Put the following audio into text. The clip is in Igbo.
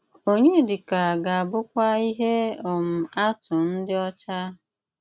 Ọnyédíkà gà-àbụ́kwà íhé um àtụ́ n’ídí́ ọ́chá